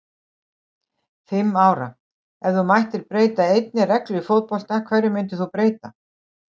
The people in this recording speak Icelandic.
Fimm ára Ef þú mættir breyta einni reglu í fótbolta, hverju myndir þú breyta?